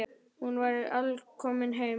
Hún væri alkomin heim.